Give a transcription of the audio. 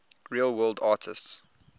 real world artists